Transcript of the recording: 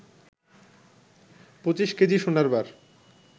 ২৫ K G সোনার বার